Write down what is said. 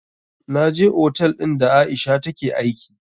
Na je otal ɗin da aisha take aiki